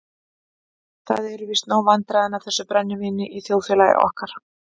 Það eru víst nóg vandræðin af þessu brennivíni í þjóðfélagi okkar.